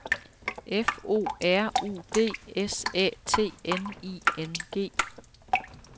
F O R U D S Æ T N I N G